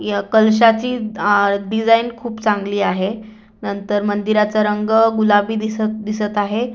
या कलशाची अ डिज़ाइन खूप चांगली आहे नंतर मंदिराचा रंग गुलाबी दिस दिसत आहे.